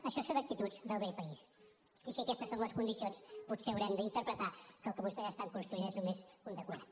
això són actituds del vell país i si aquestes són les condicions potser haurem d’interpretar que el que vostès construeixen és només un decorat